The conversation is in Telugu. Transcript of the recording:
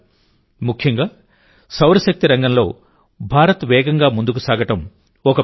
ముఖ్యంగా సౌరశక్తి రంగంలో భారత్ వేగంగా ముందుకు సాగడం ఒక పెద్ద విజయం